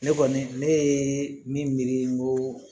Ne kɔni ne ye min miiri n ko